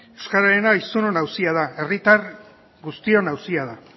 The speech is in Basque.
euskararena hiztunon auzia da herritar guztion auzia da